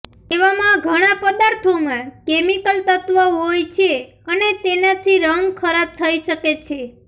એવામાં ઘણા પદાર્થોમાં કેમિકલ તત્વ હોય છે અને તેનાથી રંગ ખરાબ થઇ શકે છે